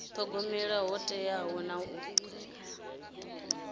thogomela ho teaho na u